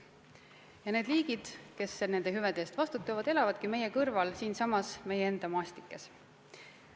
Ja need liigid, kes nende hüvede eest vastutavad, elavadki meie kõrval, siinsamas meie enda maastikes.